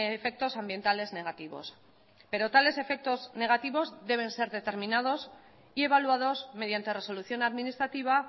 efectos ambientales negativos pero tales efectos negativos deben ser determinados y evaluados mediante resolución administrativa